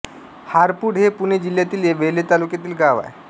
हारपूड हे पुणे जिल्ह्यातील वेल्हे तालुक्यातील गाव आहे